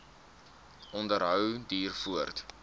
onderhou duur voort